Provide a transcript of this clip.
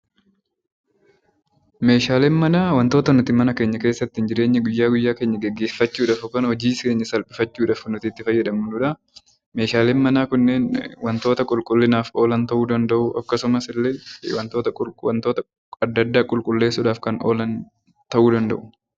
Meeshaaleen manaa wantoota nuti mana keenya keessattiin jireenya guyyaa guyyaa keenya geggeeffachuu dhaaf yookaan hojii keenya salphifachuu dhaaf nuti itti fayyadamnu dha. Meeshaleen manaa kunneen wantoota qulqullinaaf oolan ta'uu danda'uu, akkasumas wantoota adda addaa qulqulleessuu dhaaf kan oolan ta'uu danda'u.